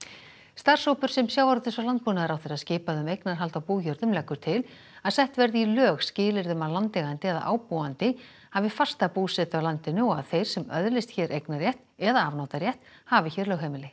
starfshópur sem sjávarútvegs og landbúnaðarráðherra skipaði um eignarhald á bújörðum leggur til að sett verði í lög skilyrði um að landeigandi eða ábúandi hafi fasta búsetu á landinu og að þeir sem öðlist hér eignarrétt eða afnotarétt hafi hér lögheimili